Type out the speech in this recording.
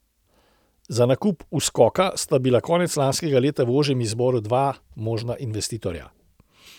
Za nakup Uskoka sta bila konec lanskega leta v ožjem izboru dva možna investitorja.